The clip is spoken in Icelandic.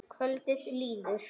Kvöldið líður.